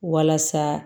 Walasa